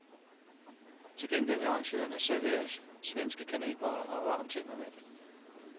Til gengæld vil arrangørerne servere svenske kanelboller og varm te med mælk.